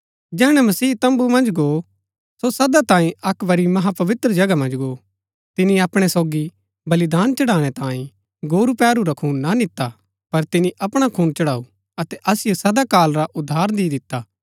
जैहणै मसीह तम्बू मन्ज गो सो सदा तांये अक्क बरी महापवित्र जगह मन्ज गो तिनी अपणै सोगी बलिदान चढ़ाणै तांये गोरू पैहरू रा खून ना निता पर तिनी अपणा खून चढ़ाऊ अतै असिओ सदा काल रा उद्धार दि दिता